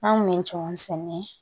An kun bɛ cɛkɔrɔ sɛnɛ